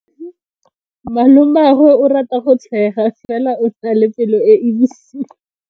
Malomagwe o rata go tshega fela o na le pelo e e bosula.